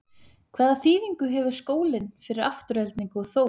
Hvaða þýðingu hefur skólinn fyrir Aftureldingu og Þór?